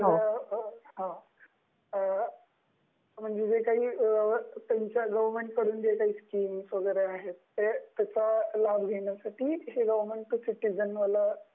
म्हणजे गवर्नमेंट ची जी काही स्किम वगरे आहे त्याचा लाभ घेण्यासाठी हे गवर्नमेंट टु सिटीजन आहे.